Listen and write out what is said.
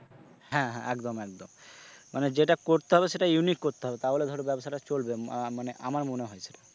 হ্যাঁ হ্যাঁ হ্যাঁ একদম একদম মানে যেটা করতে হবে সেটা unique করতে হবে তাহলে ধরো ব্যবসাটা চলবে আহ মানে আমার মনে হয়।